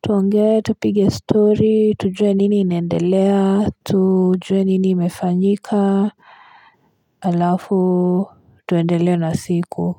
tuongee, tupige story tujue nini inaendelea, tujue nini imefanyika halafu tuendelee na siku.